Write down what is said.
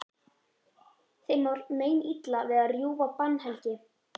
Þeim var meinilla við að rjúfa bannhelgi